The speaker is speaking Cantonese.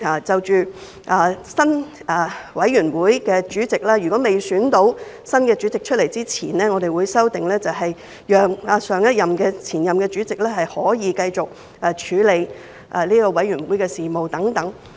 就選舉委員會主席的程序，我們亦作出了修訂，如果委員會未選出新任主席，前任主席可繼續處理委員會的事務等。